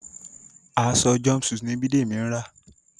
Aṣọ jumpsuit ní Bidemi ń rà.